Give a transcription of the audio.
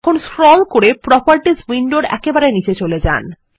এখন স্ক্রল করে প্রপার্টিস উইন্ডোর একেবারে নীচে চলে যান